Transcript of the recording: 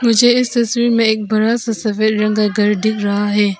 मुझे इस तस्वीर में एक बड़ा सा सफेद रंग का घर दिख रहा है।